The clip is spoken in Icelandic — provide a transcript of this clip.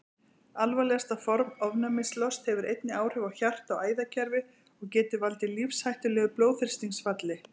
Alvarlegasta form ofnæmislosts hefur einnig áhrif á hjarta- og æðakerfi og getur valdið lífshættulegu blóðþrýstingsfalli.